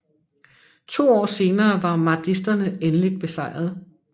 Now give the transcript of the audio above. To år senere var mahdisterne endeligt besejrede